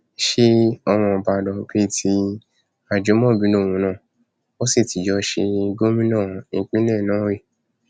ṣe ọmọ ìbàdàn bíi ti ajimobi lòun náà wọn sì ti jọ ṣe gómìnà ìpínlẹ náà rí ni